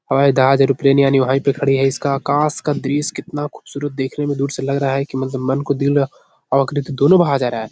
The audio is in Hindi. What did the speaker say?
हवाई जहाज एरोप्लेन यानि वहीं पे खड़ी है इसका आकाश का दृश्य कितना ख़ूबसूरत देखने में दूर से लग रहा है कि मतलब मन को दिल और आकृति दोनों भा जा रहा है।